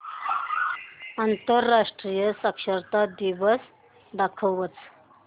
आंतरराष्ट्रीय साक्षरता दिवस दाखवच